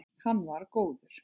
Hann var góður.